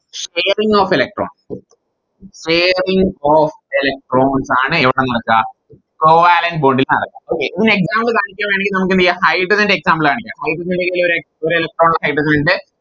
Sharing of electrons sharing of electrons ആണ് എവിടെ നടക്ക Covalent bonding നടക്ക Okay ഇതിന് Example കാണിക്കുവാണെങ്കിൽ നമുക്ക് എന്തെയ്യാം Hydrogen ൻറെ Example കാണിക്കാം Hydrogen ൻറെ കൈയിലോരെ ഒരേ Electron Hydrogen ഇണ്ട്